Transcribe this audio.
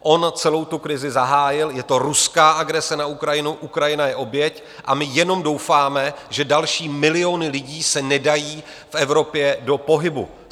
On celou tu krizi zahájil, je to ruská agrese na Ukrajinu, Ukrajina je oběť a my jenom doufáme, že další milióny lidí se nedají v Evropě do pohybu.